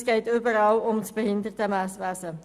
es geht in allen um das Behindertenwesen.